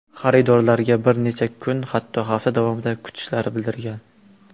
Xaridorlarga bir necha kun, hatto hafta davomida kutishlari bildirilgan.